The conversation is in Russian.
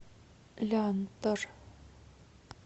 лянтор